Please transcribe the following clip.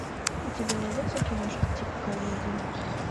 у тебя найдется киношка типа комедии